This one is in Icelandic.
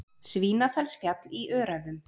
Svínafellsfjall í Öræfum.